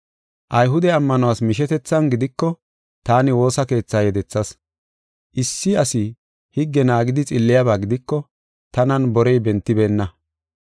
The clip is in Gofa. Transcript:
Ayhude ammanuwas mishetethan gidiko taani woosa keethaa yedethas. Issi asi higge naagidi xilliyaba gidiko, tanan borey bentibeenna.